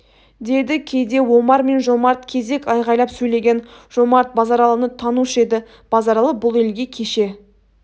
деді кейде омар мен жомарт кезек айғайлап сөйлеген жомарт базаралыны танушы еді базаралы бұл елге кеше